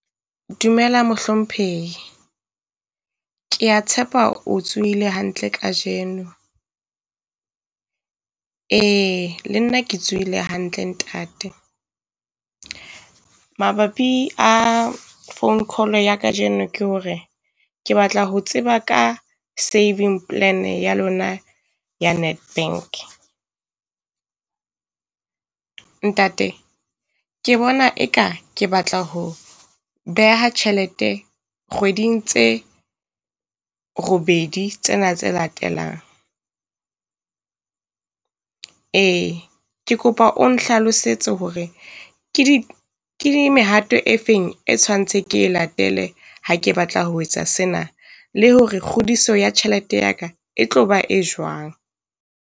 Dumela mohlomphehi. Kea tshepa o tsohile hantle kajeno. Ee le nna ke tsuhile hantle ntate. Mabapi a phone call ya kajeno ke hore ke batla ho tseba ka savings plan ya lona ya Nedbank. Ntate ke bona e ka ke batla ho beha tjhelete kgweding tse robedi tsena tse latelang. Ee ke kopa o nhlalosetse hore ke di ke di mehato e feng e tshwantse ke e latele ha ke batla ho etsa sena, le hore kgodiso ya tjhelete ya ka e tlo ba e jwang.